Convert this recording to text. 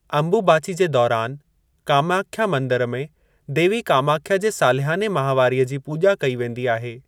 अंबुबाचि जे दौरान, कामाख्या मंदरु में देवी कामाख्या जे सालियाने माहिवारीअ जी पूॼा कई वेंदी आहे।